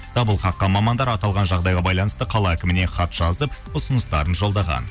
дабыл қаққан мамандар аталған жағдайға байланысты қала әкіміне хат жазып ұсыныстарын жолдаған